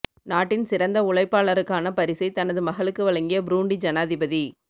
நாட்டின் சிறந்த உழைப்பாளருக்கான பரிசை தனது மகளுக்கு வழங்கிய புரூண்டி ஜனாதிபதி